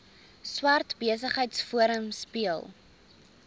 swart besigheidsforum speel